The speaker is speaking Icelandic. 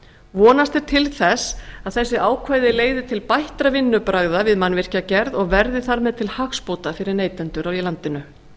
vonast er til þess að þessi ákvæði leiði til bættra vinnubragða við mannvirkjagerð og verði þar með til hagsbóta fyrir neytendur í landinu